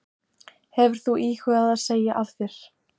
Hefur þú íhugað að segja af þér?